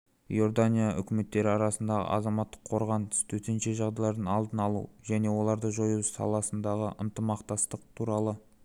иордания үкіметтері арасындағы азаматтық қорғаныс төтенше жағдайлардың алдын алу және оларды жою саласындағы ынтымақтастық туралы